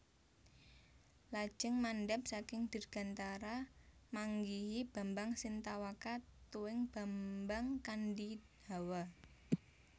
Lajeng mandhap saking dirgantara manggihi Bambang Sintawaka tuwin Bambang Kandhihawa